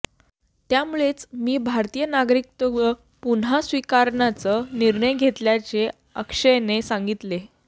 त्यामुळेच मी भारतीय नागरिकत्व पुन्हा स्वीकारण्याचा निर्णय घेतल्याचे अक्षयने सांगितले